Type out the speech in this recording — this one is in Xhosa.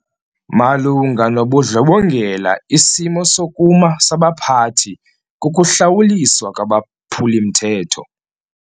Malunga nobundlobongela isimo sokuma sabaphathi kukuhlawuliswa kwabaphuli-mthetho.